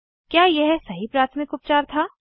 क्या यह सही प्राथमिक उपचार था160